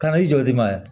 Kana i jɔ i ma yan